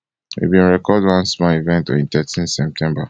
we bin record one small event on thirteen september